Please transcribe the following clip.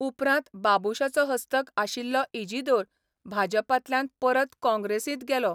उपरांत बाबूशाचो हस्तक आशिल्लो इजिदोर भाजपांतल्यान परत काँग्रेसींत गेलो.